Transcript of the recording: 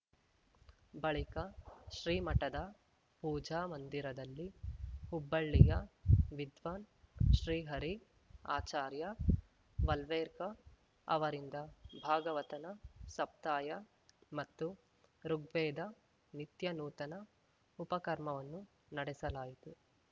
ಬಳಿಕ ಶ್ರೀಮಠದ ಪೂಜಾ ಮಂದಿರದಲ್ಲಿ ಹುಬ್ಬಳ್ಳಿಯ ವಿದ್ವಾನ್‌ ಶ್ರೀಹರಿ ಆಚಾರ್ಯ ವಲ್ವೇರ್‌ಕ ಅವರಿಂದ ಭಾಗವತನ ಸಪ್ತಾಯ ಮತ್ತು ಋುಗ್ವೇದ ನಿತ್ಯನೂತನ ಉಪಕರ್ಮವನ್ನು ನಡೆಸಲಾಯಿತು